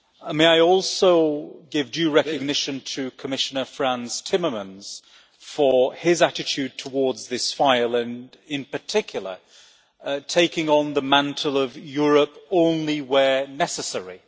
May I also give due recognition to Commissioner Frans Timmermans for his attitude towards this file and, in particular, for taking on the mantle of Europe only where necessary'.